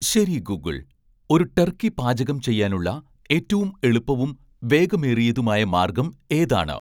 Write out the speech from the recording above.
ശരി ഗൂഗിൾ ഒരു ടർക്കി പാചകം ചെയ്യാനുള്ള ഏറ്റവും എളുപ്പവും വേഗമേറിയതുമായ മാർഗ്ഗം ഏതാണ്